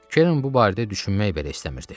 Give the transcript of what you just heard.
Keren bu barədə düşünmək belə istəmirdi.